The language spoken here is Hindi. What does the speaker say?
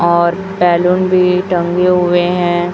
और बैलून भी टंगे हुए हैं।